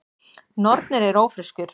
Nornir eru ófreskjur.